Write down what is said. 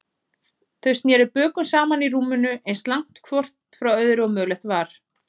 Þau sneru bökum saman í rúminu, eins langt hvort frá öðru og mögulegt var.